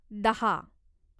दहा